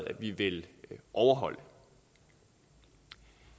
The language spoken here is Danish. at vi vil overholde